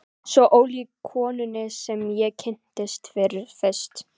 Svo ólík konunni sem ég kynntist fyrst.